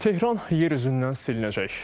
Tehran yer üzündən silinəcək.